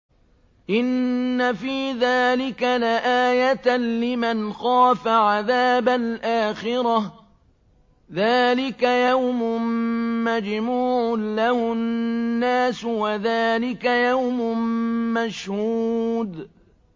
إِنَّ فِي ذَٰلِكَ لَآيَةً لِّمَنْ خَافَ عَذَابَ الْآخِرَةِ ۚ ذَٰلِكَ يَوْمٌ مَّجْمُوعٌ لَّهُ النَّاسُ وَذَٰلِكَ يَوْمٌ مَّشْهُودٌ